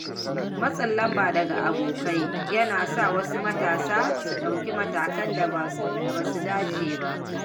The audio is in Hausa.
Matsin lamba daga abokai yana sa wasu matasa su ɗauki matakan da ba su dace ba.